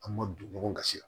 An ma don ɲɔgɔn kasi